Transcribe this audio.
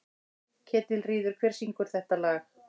Ketilríður, hver syngur þetta lag?